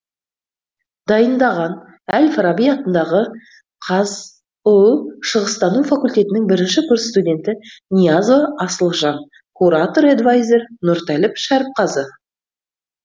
дайындаған әл фараби атындағы қазұу шығыстану факультетінің бірінші курс студенті ниязова асылжан куратор эдвайзер нұртәліп шәріпқазы